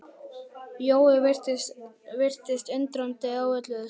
Jói virtist undrandi á öllu þessu.